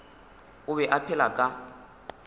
o be a phela ka